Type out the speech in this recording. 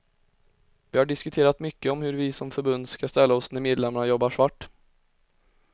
Vi har diskuterat mycket om hur vi som förbund ska ställa oss när medlemmarna jobbar svart.